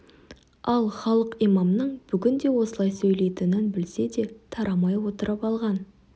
ал халық имамның бүгін де осылай сөйлейтінін білсе де тарамай отырып алған